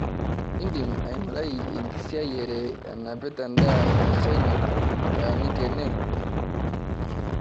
indim aingurai enkisiayiare enapata endaa eshaina nataaniki ene